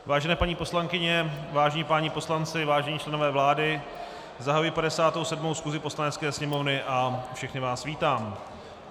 Vážené paní poslankyně, vážení páni poslanci, vážení členové vlády, zahajuji 57. schůzi Poslanecké sněmovny a všechny vás vítám.